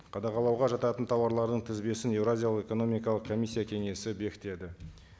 қадағалауға жататын тауарлардың тізбесін еуразиялық экономикалық комиссия кеңесі бекітеді